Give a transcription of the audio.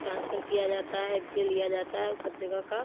Transfer किया जाता है बिजली लिया जाता है सब जगह का।